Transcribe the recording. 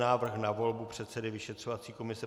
Návrh na volbu předsedy vyšetřovací komise